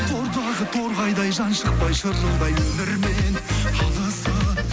тордағы торғайдай жан шықпай шырылдай өмірмен алысып